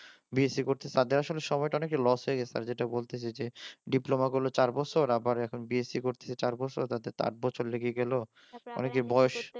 BSc করছে তাদের আসলে সময়টা অনেক লস হয়ে গেছে যেটা বলতে চাইছি ডিপ্লোমা করলো চার বছর বছর আবার এখন বিএসসি করছে চার বছর তাতে আট বছর লেগে গেল অনেকের বয়স